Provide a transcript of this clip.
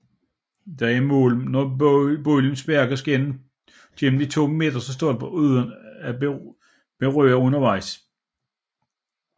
Der er mål når bolden sparkes gennem de to midterste stolper uden at den berøres undervejs